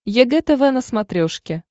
егэ тв на смотрешке